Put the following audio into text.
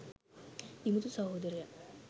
දිමුතු සහෝදරයා.